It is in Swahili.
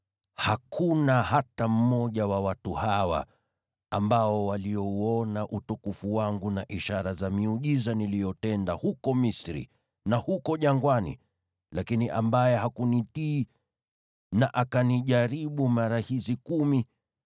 hakuna hata mmoja wa watu hawa ambao waliuona utukufu wangu na ishara za miujiza niliyotenda huko Misri na huko jangwani, lakini ambaye hakunitii na akanijaribu mara hizi kumi,